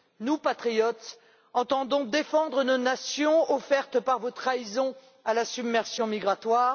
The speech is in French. Nous, patriotes, entendons défendre nos nations offertes par vos trahisons à la submersion migratoire.